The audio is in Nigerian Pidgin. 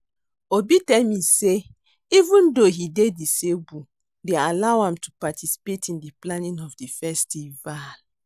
Obi tell me say even though he dey disabled dey allow am to participate in the planning of the festival